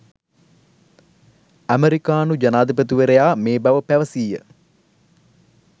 ඇමෙරිකානු ජනාධිපතිවරයා මේ බව පැවසීය